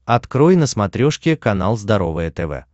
открой на смотрешке канал здоровое тв